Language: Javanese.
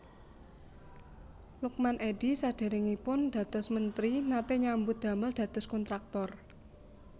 Lukman Edy sadèrèngipun dados mentri naté nyambut damel dados kontraktor